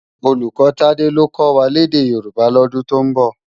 Ólúkò Tade ló kò wá lèdè Yoruba lòdún tó nbò